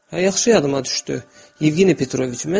Hə, yaxşı yadıma düşdü Yevgeniy Petroviç.